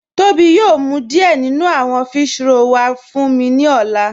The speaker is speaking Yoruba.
Tobi yòò mú díẹ̀ nínú àwọn físhrọ̀lì wà fún mí ni ọ̀lá